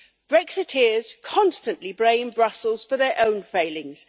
Brexiteers constantly blame Brussels for their own failings.